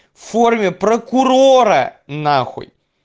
форме прокурора нахуй